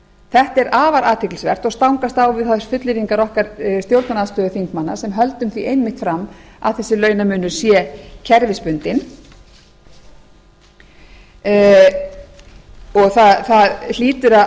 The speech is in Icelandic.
þetta er afar athyglisvert og stangast á við þær fullyrðingar okkar stjórnarandstöðuþingmanna sem höldum því einmitt fram að þessi launamunur sé kerfisbundinn það hlýtur